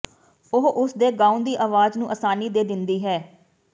ਉਹ ਉਸਦੇ ਗਾਉਣ ਦੀ ਆਵਾਜ਼ ਨੂੰ ਆਸਾਨੀ ਦੇ ਦਿੰਦੀ ਹੈ